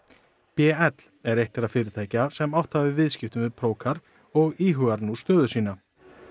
b l er eitt þeirra fyrirtækja sem átt hafa í viðskiptum við og íhugar nú stöðu sína